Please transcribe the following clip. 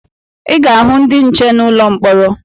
Ị ga-ahụ ndị nche n'ụlọ mkpọrọ